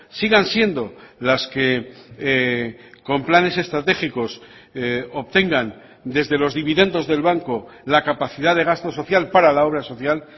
sigan siendo las que con planes estratégicos obtengan desde los dividendos del banco la capacidad de gasto social para la obra social